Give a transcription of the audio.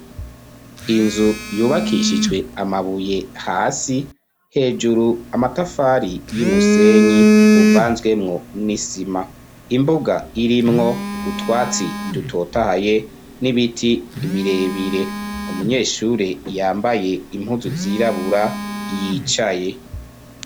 Inzu yubakishijwe amabuye hasi hejuru amatafari y'umusenyi uvanzwemwo n'isima, imbuga irimwo utwatsi idutotahaye n'ibiti birebire umunyeshure yambaye impuzu vyirabura yicaye.